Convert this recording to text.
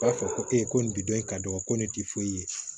B'a fɔ ko e ko nin bi dɔn e ka dɔgɔ ko ne ti foyi ye